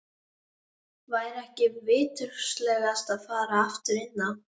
Væri ekki viturlegast að fara aftur inn á